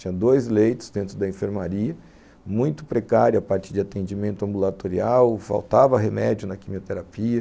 Tinha dois leitos dentro da enfermaria, muito precária a partir de atendimento ambulatorial, faltava remédio na quimioterapia,